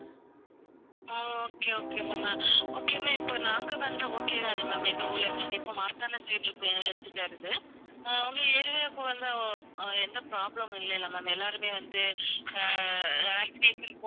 okay, okay ma'am uh okay ma'am இப்ப நாங்க வந்தா okay தானே ma'am எங்க ஊர்ல இருந்து அங்க இப்ப மார்த்தாண்டம் side இருக்கு எங்க health care இது. அஹ் உங்க area க்கு வந்தா o~ அஹ் எந்த problem மும் இல்லையில்ல ma'am எல்லாருமே வந்து அஹ் vaccination